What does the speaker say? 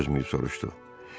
Felton dözməyib soruşdu.